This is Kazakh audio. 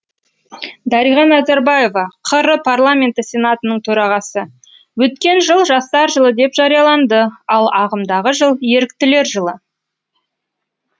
дариға назарбаева қр парламенті сенатының төрағасы өткен жыл жастар жылы деп жарияланды ал ағымдағы жыл еріктілер жылы